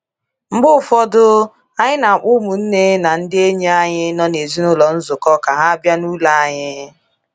Mgbe ụfọdụ, anyị na-akpọ ụmụnne na ndị enyi anyị nọ n'ezinụlọ nzukọ ka ha bịa n'ụlọ anyị."